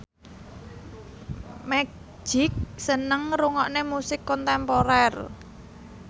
Magic seneng ngrungokne musik kontemporer